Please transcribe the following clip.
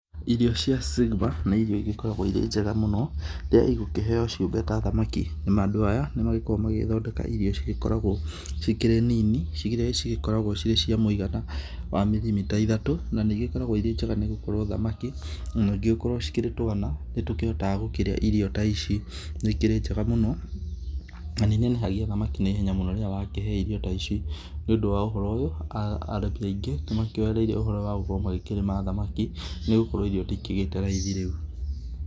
Irio cia Sigma, nĩ irio igĩkoragwo irĩ njega mũno rĩrĩa igũkĩheo ciũmbe ta thamaki na andũ aya nĩ magĩkoragwo magĩgĩthondeka irio cigĩkoragwo cikĩrĩ nini, ciria cigĩkoragwo cia mũigana wa mirimita ithatũ, na nĩ igĩkoragwo irĩ njega nĩ gũkorwo thamaki ningĩ gũkorwo cikĩrĩ twana, nĩ tũkĩhotaga kũrĩa irio ta ici. nĩ ikĩrĩ njega mũno, na nĩ inenehagia thamaki na ihenya mũno rĩrĩa wakĩhe irio ta ici. Nĩ ũndũ wa ũhoro ũyũ, arani aingĩ nĩ makĩoereire ũhoro ũyũ wa gũkorwo magĩkĩrĩma thamaki nĩ gũkorwo irio nĩ ikĩgĩte raithi rĩu.